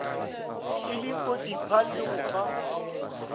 e lekodipa le go fa